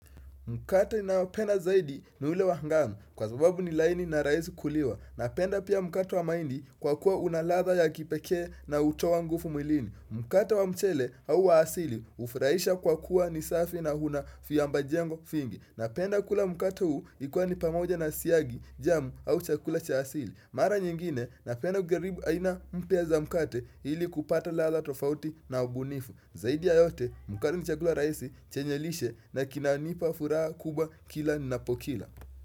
Mkate nayopenda zaidi ni ule wa hangamu kwa sababu ni laini na rahisi kuliwa. Napenda pia mkate wa mahindi kwa kuwa una ladha ya kipekee na hutowa nguvu mwilini. Mkate wa mchele au wa asili hufuraisha kwa kuwa ni safi na huna vyamba jengo vingi. Napenda kula mkate huu ikiwa ni pamoja na siagi, jamu au chakula cha asili. Mara nyingine napenda kujaribu aina mpya za mkate ili kupata ladha tofauti na ubunifu. Zaidi ya yote mkate ni chakula rahisi chenye lishe na kinanipa furaha kubwa kila ninapokila.